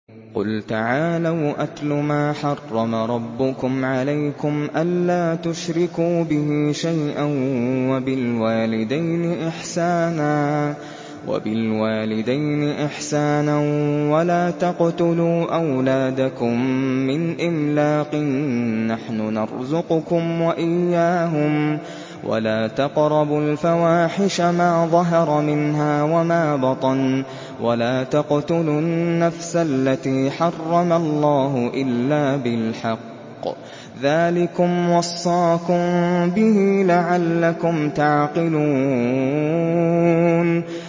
۞ قُلْ تَعَالَوْا أَتْلُ مَا حَرَّمَ رَبُّكُمْ عَلَيْكُمْ ۖ أَلَّا تُشْرِكُوا بِهِ شَيْئًا ۖ وَبِالْوَالِدَيْنِ إِحْسَانًا ۖ وَلَا تَقْتُلُوا أَوْلَادَكُم مِّنْ إِمْلَاقٍ ۖ نَّحْنُ نَرْزُقُكُمْ وَإِيَّاهُمْ ۖ وَلَا تَقْرَبُوا الْفَوَاحِشَ مَا ظَهَرَ مِنْهَا وَمَا بَطَنَ ۖ وَلَا تَقْتُلُوا النَّفْسَ الَّتِي حَرَّمَ اللَّهُ إِلَّا بِالْحَقِّ ۚ ذَٰلِكُمْ وَصَّاكُم بِهِ لَعَلَّكُمْ تَعْقِلُونَ